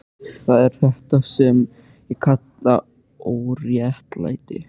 Það er þetta sem ég kalla óréttlæti.